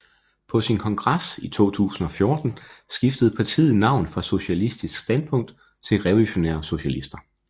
På sin kongres i 2014 skiftede partiet navn fra Socialistisk Standpunkt til Revolutionære Socialister